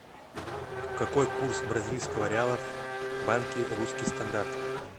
какой курс бразильского реала в банке русский стандарт